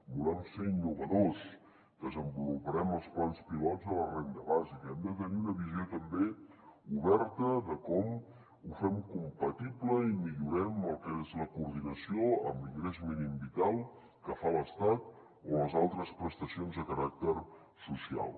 volem ser innovadors desenvoluparem els plans pilots de la renda bàsica hem de tenir una visió també oberta de com ho fem compatible i millorem el que és la coordinació amb l’ingrés mínim vital que fa l’estat o les altres prestacions de caràcter social